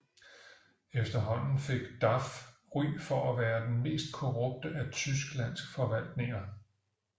Efterhånden fik DAF ry for at være den mest korrupte af Tysklands forvaltninger